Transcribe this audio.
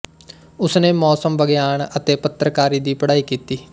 ਉਸਨੇ ਮੌਸਮ ਵਿਗਿਆਨ ਅਤੇ ਪੱਤਰਕਾਰੀ ਦੀ ਪੜ੍ਹਾਈ ਕੀਤੀ